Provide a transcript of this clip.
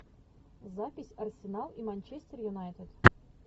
запись арсенал и манчестер юнайтед